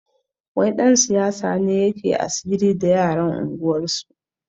Wani ɗan siyasa ne yake asiri da yaran unguwarsu